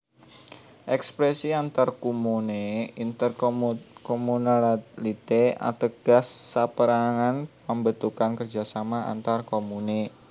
Èkspresi antarkomune intercommunalité ateges sapérangan pambentukan kerjasama antar komune